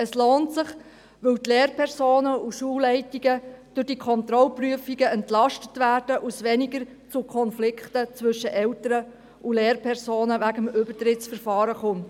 Es lohnt sich, wenn die Lehrpersonen und die Schulleitungen durch diese Kontrollprüfungen entlastet werden und es wegen des Übertrittsverfahrens zu weniger Konflikten zwischen Eltern und Lehrpersonen kommt.